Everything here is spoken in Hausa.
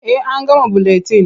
Eh an gama buletin.